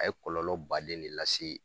A ye kɔlɔlɔ baden de lase